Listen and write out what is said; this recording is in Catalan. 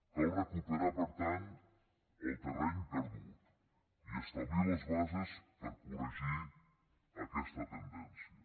cal recuperar per tant el terreny perdut i establir les bases per corregir aquesta tendència